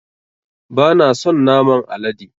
Bana son naman alade